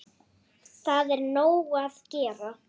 Það er nóg að gera!